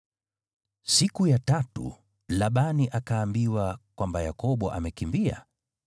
Siku ya tatu Labani akaambiwa kwamba Yakobo amekimbia.